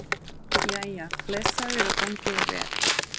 Jæja, blessaður og gangi þér vel